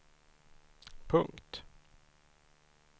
punkt